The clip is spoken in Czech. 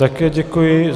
Také děkuji.